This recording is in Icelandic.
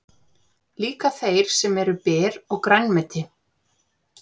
Líka þeir sem eru ber og grænmeti.